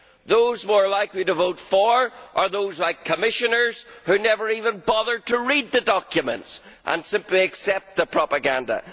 Those more likely to vote for it are those like Commissioners who never even bothered to read the documents and simply accept the propaganda.